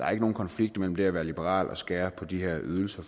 er ikke nogen konflikt mellem det at være liberal og skære på de her ydelser